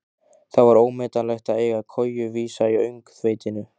Það var ómetanlegt að eiga koju vísa í öngþveitinu.